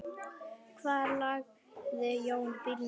Hvar lagði Jón bílnum?